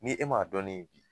Ni e m'a dɔn ne ye bi